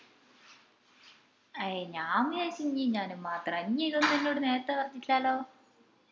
അയെ ഞാൻ വിചാരിച് ഇഞ്ഞും ഞാനും മാത്രാന്ന് ഇഞ് ഇതൊന്നും എന്നോട് നേരത്തെ പറഞ്ഞിട്ടില്ലാലോ